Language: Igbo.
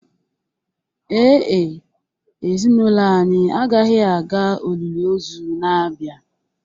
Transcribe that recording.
Ee e, ezinụlọ anyị agaghị aga olili ozu na-abịa